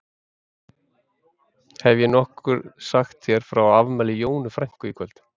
Hef ég nokkuð sagt þér frá afmæli Jónu frænku í kvöld?